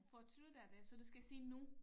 Fortryder det så du skal sige nu